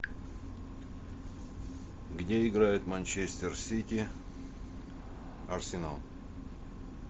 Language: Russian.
где играет манчестер сити арсенал